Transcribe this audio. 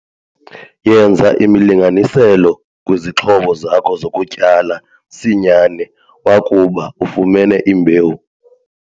Yenza imilinganiselo kwizixhobo zakho zokutyala msinyane wakuba ufumene imbewu.